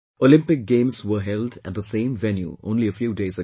Olympic Games were held at the same venue only a few days ago